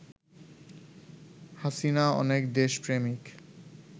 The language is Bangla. হাসিনা অনেক দেশ প্রেমিক